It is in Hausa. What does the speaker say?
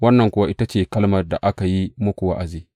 Wannan kuwa ita ce kalmar da aka yi muku wa’azi.